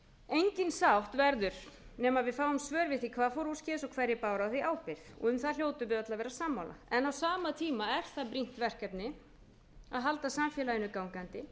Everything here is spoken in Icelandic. engin sátt verður nema við fáum svör við því hvað fór úrskeiðis og hverjir báru á því ábyrgð og um það hljótum við öll að vera sammála en á sama tíma er það brýnt verkefni að halda samfélaginu gangandi